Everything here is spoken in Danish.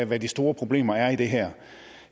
hvad de store problemer er i det her